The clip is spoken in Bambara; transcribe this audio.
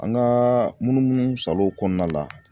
An ka munumunu salow kɔnɔna la